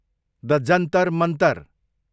the Jantar Mantar